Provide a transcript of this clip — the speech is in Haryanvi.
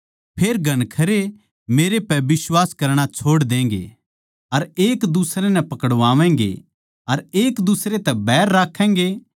फेर घणखरे मेरे पै बिश्वास करणा छोड़ देंगें अर एकदुसरै नै पकड़वावैगें अर एकदुसरै तै बैर राक्खैगें